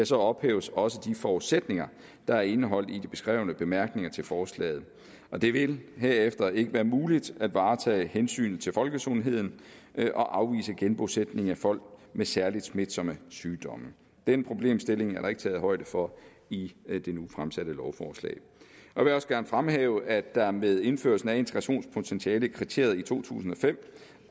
så ophæves også de forudsætninger der er indeholdt i de beskrevne bemærkninger til forslaget og det vil herefter ikke være muligt at varetage hensynet til folkesundheden og afvise genbosætning af folk med særlig smitsomme sygdomme den problemstilling er der ikke taget højde for i det nu fremsatte lovforslag jeg vil også gerne fremhæve at der med indførelsen af integrationspotentialekriteriet i to tusind og fem